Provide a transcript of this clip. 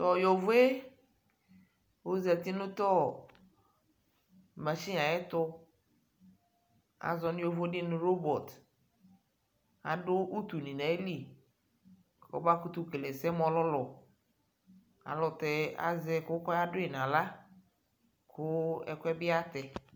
To yovoe ozati no to machine ayeto , azɔ no yovode no robɔt Ado utu ne ayili kɔ na koto kele ɛsɛ mo ɔlulu Alutɛ azɛ ɛko lɔ ya doe nahla ko ɛkuɛ be yatɛ